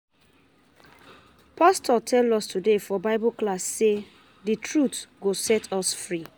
Pastor tell us today for bible class say the truth go set us free